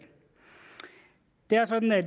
det er sådan at